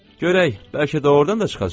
Görək, bəlkə doğurdan da çıxacaq.